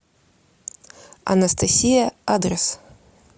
анастасия адрес